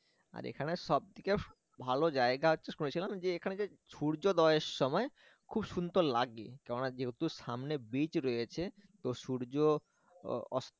আর এখানে সবথেকে ভালো জায়গা হচ্ছে শুনেছিলাম যে এখানে যে সূর্যদয়ের সময় খুব সুন্দর লাগে কেন না যেহেতু সমানে beach রয়েছে তো সূর্য আহ